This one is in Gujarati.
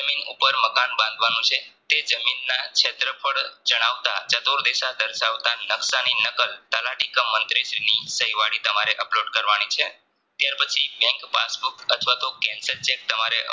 ઉપર મકાન બાંધવાનું છે તે જામીનના ક્ષેત્ર ફળ જણાવતા ચતુર્દીશા દર્શાવતાની નકશાની નકલ તલાટીકે મન્ત્રીની સહીવાળી upload કરવાની છે. ત્યાર પછી બેન્ક પાસ book અથવાતો Cancel ચેક તમારે